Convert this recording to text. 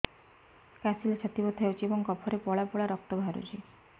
କାଶିଲେ ଛାତି ବଥା ହେଉଛି ଏବଂ କଫରେ ପଳା ପଳା ରକ୍ତ ବାହାରୁଚି